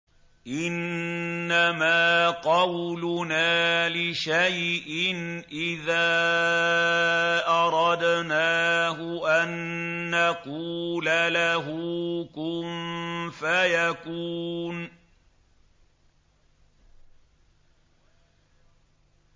إِنَّمَا قَوْلُنَا لِشَيْءٍ إِذَا أَرَدْنَاهُ أَن نَّقُولَ لَهُ كُن فَيَكُونُ